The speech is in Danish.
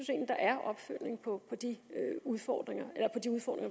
der er opfølgning på de udfordringer